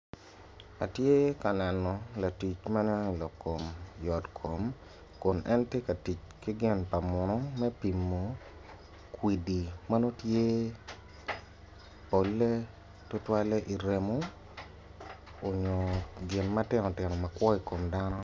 Atye ka neno latic ma loyo yot kom kun en tye ka tic ki gin pa muno me pimo kwidi ma nongo tye polle tutwalle i remo nyo gin ma tino tino ma kwo i kom dano.